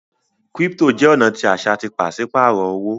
crypto jẹ ọna tí aṣa tí paṣipaarọ owo